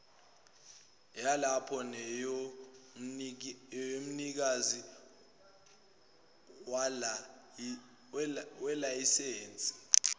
yalapho neyomnikazi welayisense